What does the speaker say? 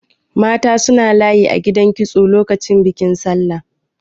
Mata suna layi a gidan kitso lokacin bikin Sallah.